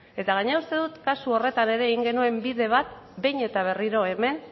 eta gainera uste dut kasu horretan ere egin genuen bide bat behin eta berriro hemen